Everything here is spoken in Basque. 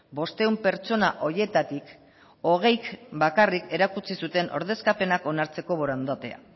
bostehun pertsona horietatik hogeik bakarrik erakutsi zuten ordezkapenak onartzeko borondatea